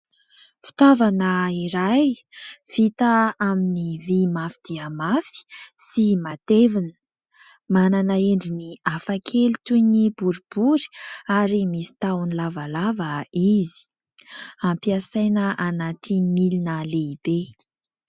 Fitaovana iray vita amin'ny vy mafy dia mafy sy matevina, manana endriny hafakely toy ny boribory ary misy tahony lavalava izy, ampiasaina anaty milina lehibe.